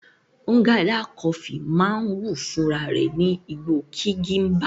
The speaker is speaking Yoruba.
Nganda coffee máa ń wù fún rarẹ̀ ní igbó Kigimba.